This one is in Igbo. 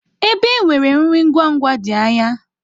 Ebe e nwere nri ngwa ngwa dị anya.